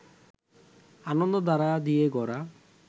আনন্দধারা দিয়ে গড়া